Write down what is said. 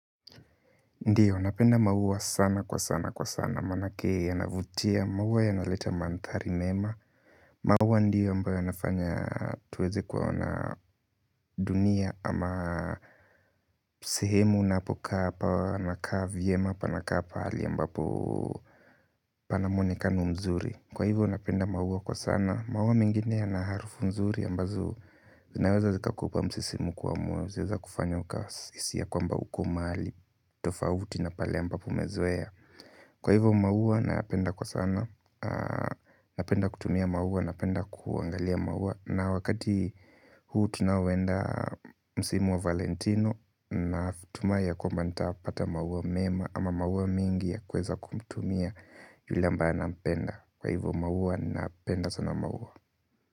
Ndio, napenda maua sana kwa sana kwa sana, manake yanavutia, maua yanaleta mandhari mema maua ndiyo ambayo yanafanya tuweze kuona dunia ama sehemu napo kaa pana kaa vyema pana kaa pahali ambapo pana muonekano mzuri. Kwa hivyo napenda maua kwa sana, maua mengine yana harufu nzuri ambazo zinaweza zika kupa msisimko wa moyo zaeza kufanya uka hisisi ya kwamba uko mahali tofauti na pale ambapo umezoea. Kwa hivyo maua nayapenda kwa sana napenda kutumia maua, napenda kuangalia maua, na wakati huu tunaoenda msimu wa Valentino na tumai kwamba nitapata maua mema ama maua mingi ya kueza kumtumia yule ambaye napenda. Kwa hivyo maua nayapenda sana maua.